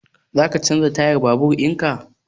Za ka canza tayan babur in ka?